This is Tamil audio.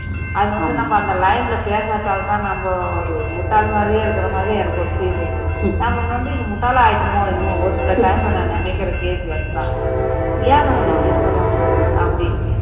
அது வந்து நம்ம அந்த line ல பேசாததால தான் நம்ம ஒரு முட்டாள் மாறியே இருக்குறமாரி எனக்கொரு feel இருக்கு நம்ம வந்து முட்டாள் ஆகிட்டோமோ என்னமோ ஒரு சில time ல நான் நினைக்குற கேள்வி அது தான் ஏன் இப்படி இருக்குறோம் அப்படி